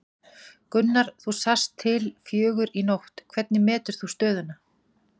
Gunnar þú sast til fjögur í nótt, hvernig metur þú stöðuna?